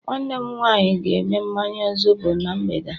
nwanne m nwanyi ga eme mmanya zobo na mgbede a